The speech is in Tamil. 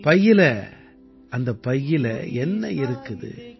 பையில அந்தப் பையில என்ன இருக்குது